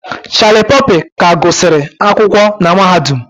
Shalipopy ka gụsịrị akwụkwọ na mahadum